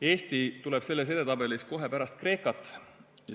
Eesti tuleb selles edetabelis kohe pärast Kreekat.